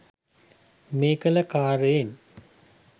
මේ කළ කාර්යයෙන්